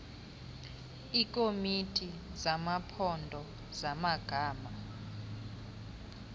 iikomiti zamaphondo zamagama